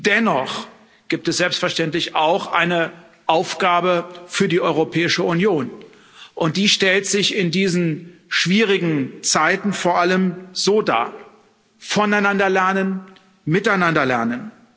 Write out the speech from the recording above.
Dennoch gibt es selbstverständlich auch eine Aufgabe für die Europäische Union, und die stellt sich in diesen schwierigen Zeiten vor allem so dar Voneinander lernen, miteinander lernen.